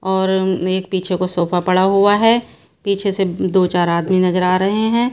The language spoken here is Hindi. और एक पीछे को सोफा पड़ा हुआ है पीछे से दो चार आदमी नजर आ रहे हैं।